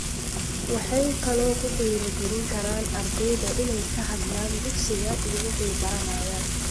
Waxay kaloo ku dhiirigelin karaan ardayda inay ka hadlaan dugsiga iyo waxay baranayaan.